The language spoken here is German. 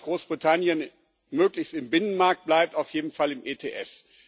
Wir wollen, dass Großbritannien möglichst im Binnenmarkt bleibt, auf jeden Fall im ETS.